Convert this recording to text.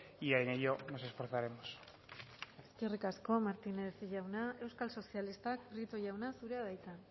y en ello nos esforzaremos eskerrik asko martínez jauna euskal sozialistak prieto jauna zurea da hitza